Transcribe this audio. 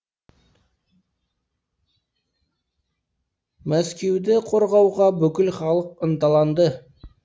мәскеуді қорғауға бүкіл халық ынталанды